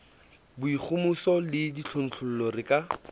boikgohomoso le ditlontlollo re ka